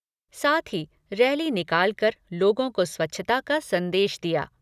साथ ही रैली निकालकर लोगों को स्वच्छता का संदेश दिया।